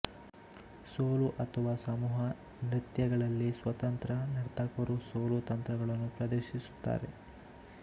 solo ಅಥವಾ ಸಮೂಹ ನೃತ್ಯಗಳಲ್ಲಿ ಸ್ವತಂತ್ರ ನರ್ತಕರು ಸೊಲೊ ತಂತ್ರ ಗಳನ್ನು ಪ್ರದರ್ಶಿಸುತ್ತಾರೆ